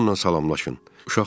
Gəlin onunla salamlaşın.